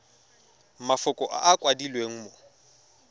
mafoko a a kwadilweng mo